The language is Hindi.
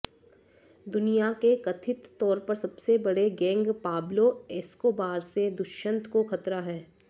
दुनिया के कथित तौर पर सबसे बड़े गैंग पाब्लों एस्कोबार से दुष्यंत को खतरा है